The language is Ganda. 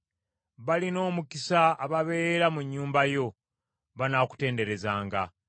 Balina omukisa ababeera mu nnyumba yo, banaakutenderezanga.